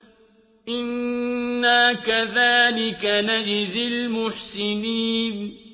إِنَّا كَذَٰلِكَ نَجْزِي الْمُحْسِنِينَ